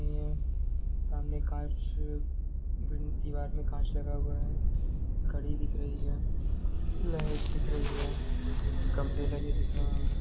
ये सामने कांच बिन्द दीवार में कांच लगा हुआ है घड़ी दिख रही है लाइट दिख रही है खम्भे लगे दिख रहे है।